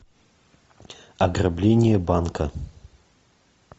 ограбление банка